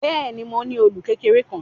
Bẹ́ẹ̀ ni, mo ní òòlù kékeré kan.